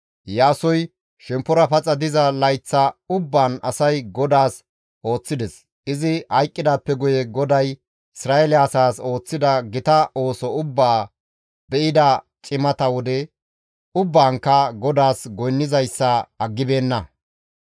Iyaasoy shemppora paxa diza layththa ubbaan asay GODAAS ooththides; izi hayqqidaappe guye GODAY Isra7eele asaas ooththida gita ooso ubbaa be7ida cimata wode ubbaankka GODAAS goynnizayssa aggibeenna.